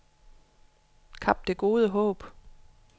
Kap Det Gode Håb